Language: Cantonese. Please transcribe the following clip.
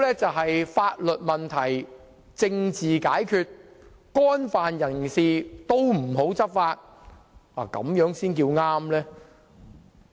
是否要法律問題政治解決，不對干犯法律的人士採取執法行動，這樣才算正確？